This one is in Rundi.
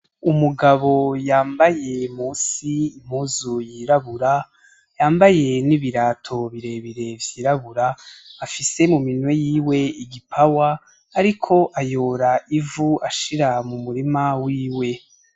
Umugabo yambaye munsi impuzu yirabura, yambaye n'ibirato birebire vyirabura, afise mu minwe yiwe igipawa ariko ayora ivu ashira mu murima wiwe.